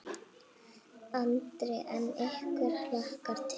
Andri: En ykkur hlakkar til?